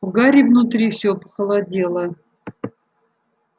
у гарри внутри все похолодело